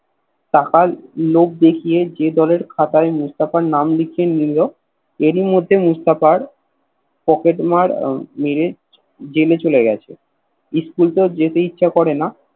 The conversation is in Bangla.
টাকার লোভ দেখিয়ে যে দলের খাতায় মুস্তফার নাম লেখিয়ে নিল এরই মধ্যে মুস্তফার পকেট মার মেরে জেলে চলে গেছে School তো যেতে ইচ্ছে করেনা